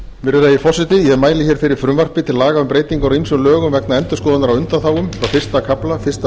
virðulegi forseti ég mæli hér fyrir frumvarpi til laga um breytingar á ýmsum lögum vegna endurskoðunar á undanþágum frá fyrsta kafla fyrsta